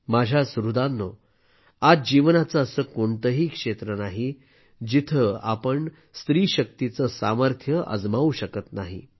माझ्या सुहृदांनो आज जीवनाचे असे कोणतेही क्षेत्र नाही जिथे आपण स्त्री शक्तीचे सामर्थ्य अजमावू शकत नाही